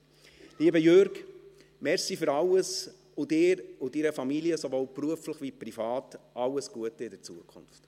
Lieber Jürg Iseli, danke für alles, und Ihnen und Ihrer Familie sowohl beruflich wie privat alles Gute in der Zukunft!